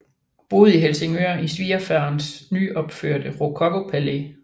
Boede i Helsingør i svigerfaderens nyopførte rokokopalæ